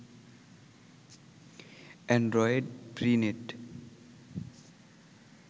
Android free net